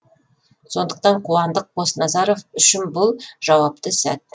сондықтан қуандық қосназаров үшін бұл жауапты сәт